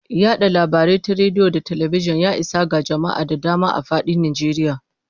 Yada labarai ta rediyo da talabijin, ya isa ga jama'a da dama a fadin Najeriya.